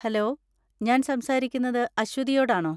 Hello, ഞാൻ സംസാരിക്കുന്നത് അശ്വതിയോടാണോ?